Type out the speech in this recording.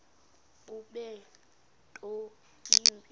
bube nto yimbi